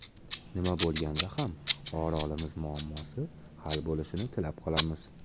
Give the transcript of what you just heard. Nima bo‘lganda ham Orolimiz muammosi hal bo‘lishini tilab qolamiz.